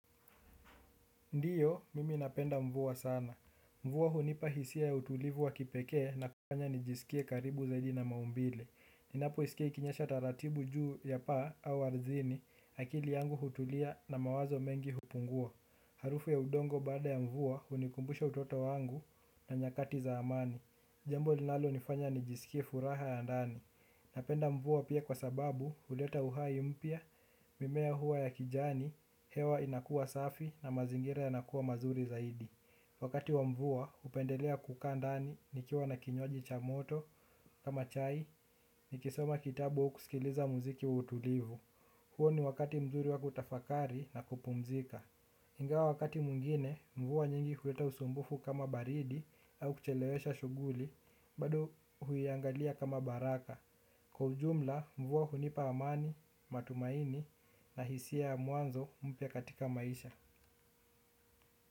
Ndio, mimi napenda mvua sana. Mvua hunipa hisia ya utulivu wa kipekee na kufanya nijisikie karibu zaidi na maumbile. Ninapo isikia ikinyesha taratibu juu ya paa au ardhini, akili yangu hutulia na mawazo mengi hupungua. Harufu ya udongo baada ya mvua hunikumbusha utoto wangu na nyakati za amani. Jambo linalo nifanya nijisikie furaha ya ndani. Napenda mvua pia kwa sababu, huleta uhai mpya, mimea huwa ya kijani, hewa inakua safi na mazingira yanakua mazuri zaidi. Wakati wa mvua napendelea kukaa ndani nikiwa na kinywaji cha moto. Kama chai ni kisoma kitabu wa ukusikiliza muziki wa utulivu. Huo ni wakati mzuri wa kutafakari na kupumzika ingawa wakati mwingine mvua nyingi huleta usumbufu kama baridi au kuchelewesha shughuli, bado huiangalia kama baraka. Kwa ujumla mvua hunipa amani, matumaini. Na hisia ya mwanzo mpya katika maisha.